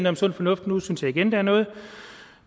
om sund fornuft nu synes jeg igen der er noget